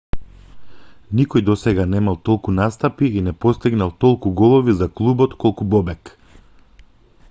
никој досега немал толку настапи и не постигнал толку голови за клубот колку бобек